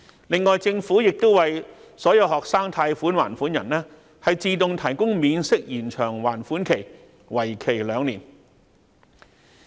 另外，政府亦為所有學生貸款還款人自動提供免息延長還款期，為期兩年。